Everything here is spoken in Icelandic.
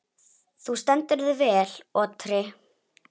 Þú stendur þig vel, Otri!